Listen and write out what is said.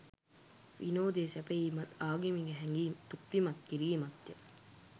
විනෝදය සැපයීමත්, ආගමික හැඟීම් තෘප්තිමත් කිරීමත් ය.